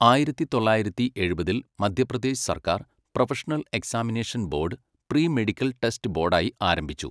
ആയിരത്തി തൊള്ളായിരത്തി എഴുപതിൽ മധ്യപ്രദേശ് സർക്കാർ professional examination board pre medical test ബോർഡായി ആരംഭിച്ചു.